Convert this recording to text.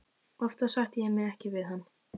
Oftast sætti ég mig ekki við hann.